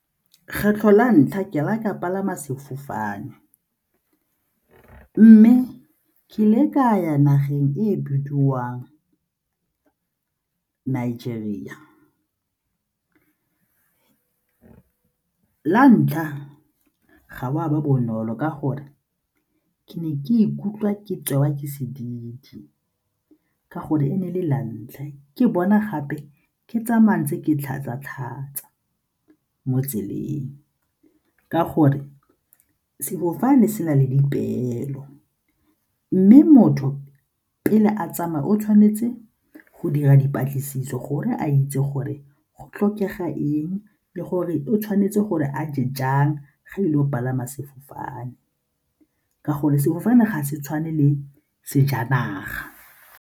Kgetlho la ntlha ke le ka palama sefofane mme ke ile ka ya nageng e e bediwang Nigeria. La ntlha, ga go a ba bonolo ka gore ke ne ke ikutlwa ke tseiwa ke sedidi ka gonne e ne e le la ntlha, ke bona gape ke tsamayang tse ke tlhatsa-tlhatsa mo tseleng ka gore sefofane se na le dipeelo mme motho pele a tsamaya o tshwanetse go dira dipatlisiso gore a itse gore go tlhokega eng le gore o tshwanetse gore a je jang ge e le o palama sefofane ka gonne sefofane ga se tshwane le sejanaga.